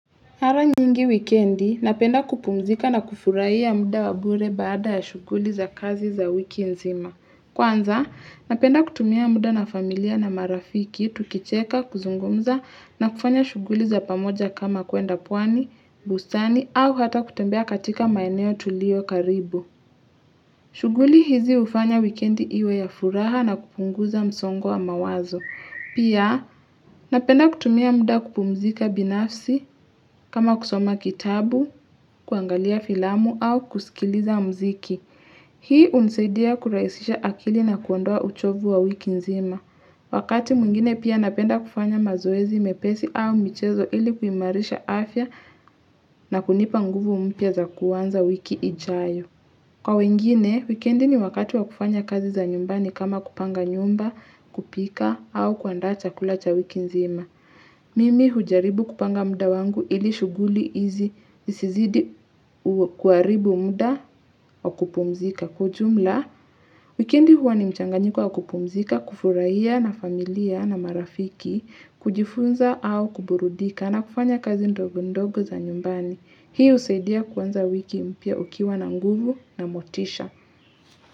Mara nyingi wikendi, ninapenda kupumzika na kufurahia ya muda wa bure baada ya shuguli za kazi za wiki nzima. Kwanza, napenda kutumia muda na familia na marafiki, tukicheka, kuzungumza, na kufanya shuguli za pamoja kama kuenda pwani, bustani, au hata kutembea katika maeneo tulio karibu. Shuguli hizi hufanya wikendi iwe ya furaha na kupunguza msongo wa mawazo. Pia napenda kutumia muda kupumzika binafsi kama kusoma kitabu, kuangalia filamu au kusikiliza mziki. Shuguli hizi ufanya wikendi iwe ya furaha na kupunguza msongwa mawazo. Wakati mwingine pia napenda kufanya mazoezi mepesi au michezo ili kuimarisha afya na kunipa nguvu mpya za kuanza wiki ijayo. Pia napenda kutumia muda kupumzika binafsi kama kusoma kitabu, kuangalia filamu au kusikiliza mziki. Wakati mungine pia napenda kufanya mazoezi mepesi au michezo ili kuimarisha afya na kunipa nguvu mpia za kuanza wiki ijayo. Kwa wengine, weekendi ni wakatu wa kufanya kazi za nyumbani kama kupanga nyumba, kupika, au kuandacha kulacha wiki nzima. Mimi hujaribu kupanga muda wangu ili shuguli izi zizidi kuaribu muda wa kupumzika.